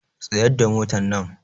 Tsayar da motannan!